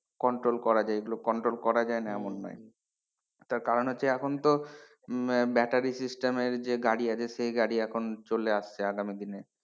Control করা যায় এগুলো control করা যায় না এমন নই তার কারন হচ্ছে এখন তো battery system এর যে গাড়ি আছে সে গাড়ি এখন চলে আসছে আগামী দিনে,